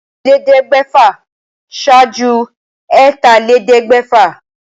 Èjìlélẹ́ẹ̀ẹ́dẹ́gbẹ́fà ṣáájú ẹ̀tàlélẹ́ẹ̀ẹ́dẹ́gbẹ́fà